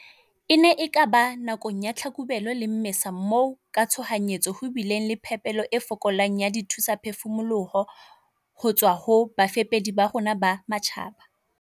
"E ne e ka ba nakong ya Tlhakubele le Mmesa moo ka tshohanyetso ho bileng le phepelo e fokolang ya dithusaphefumoloho ho tswa ho bafepedi ba rona ba matjhaba."